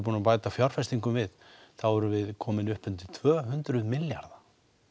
búin að bæta fjárfestingum við erum við komin upp undir tvö hundruð milljarða